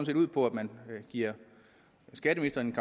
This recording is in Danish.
set ud på at man giver skatteministeren